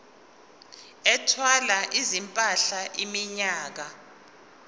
ethwala izimpahla iminyaka